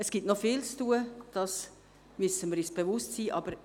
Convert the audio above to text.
Es gibt noch viel zu tun, dessen müssen wir uns bewusst sein.